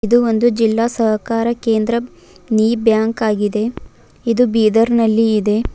ಇದು ಒಂದು ಜಿಲ್ಲಾ ಸಹಕಾರ ಕೇಂದ್ರ ನಿ ಬ್ಯಾಂಕ್ ಆಗಿದೆ ಇದು ಬೀದರ್ನಲ್ಲಿ ಇದೆ.